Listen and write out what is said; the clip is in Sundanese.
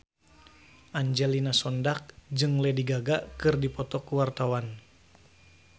Angelina Sondakh jeung Lady Gaga keur dipoto ku wartawan